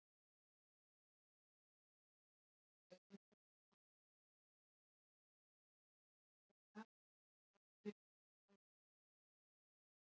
Ættkvíslir og tegundir eru grunnurinn að hinni fræðilegu nafngift lífvera.